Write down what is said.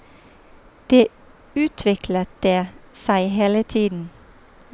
Det utviklet det seg hele tiden.